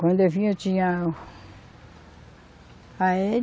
Quando eu vinha eu tinha a